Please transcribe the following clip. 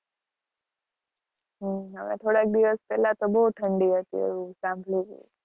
હમ થોડા દિવસ તો પેલા બોવ ઠંડી હતી, એવું સાંભળું'તું.